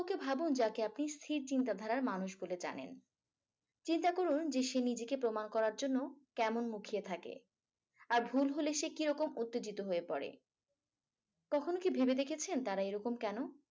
কাউকে ভাবুন যাকে আপনি স্থির চিন্তাধারার মানুষ বলে জানেন। চিন্তা করুন যে সে নিজেকে প্রমাণ করার জন্য কেমন মুখিয়ে থাকে। আর ভুল হলে সে কিরকম উত্তেজিত হয়ে পড়ে। কখনো কি ভেবে দেখেছেন তারা এরকম কেন?